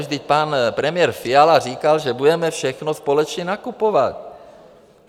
Vždyť pan premiér Fiala říkal, že budeme všechno společně nakupovat.